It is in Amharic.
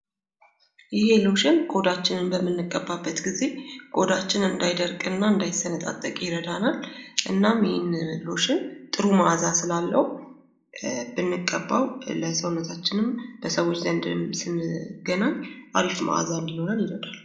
ይሄ ሎሽን ቆዳችንን በምንቀባበት ጊዜ ቆዳችን እንዳይደርቅና እንዳይሰነጣጠቅ ይረዳናል። እናም ይሄ ሎሽን ጥሩ መአዛ ስላለው ብንቀባው ለሰውነታንም በሰዎች ዘንድ ስንገናኝ አሪፍ መአዛ እንድኖረን ይረዳል።